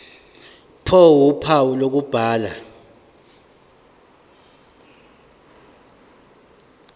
ph uphawu lokubhala